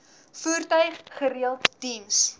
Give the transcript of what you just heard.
voertuig gereeld diens